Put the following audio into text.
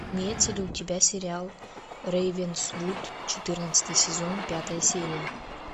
имеется ли у тебя сериал рейвенсвуд четырнадцатый сезон пятая серия